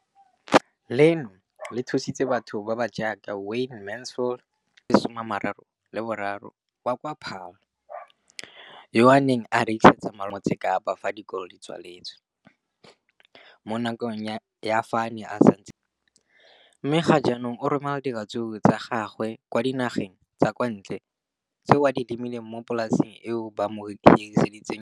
Leno le thusitse batho ba ba jaaka Wayne Mansfield, 33, wa kwa Paarl, yo a neng a rekisetsa malomagwe kwa Marakeng wa Motsekapa fa dikolo di tswaletse, mo nakong ya fa a ne a santse a tsena sekolo, mme ga jaanong o romela diratsuru tsa gagwe kwa dinageng tsa kwa ntle tseo a di lemileng mo polaseng eo ba mo hiriseditseng yona.